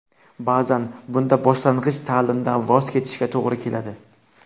Ba’zan bunda boshlang‘ich ta’limdan voz kechishga to‘g‘ri keladi.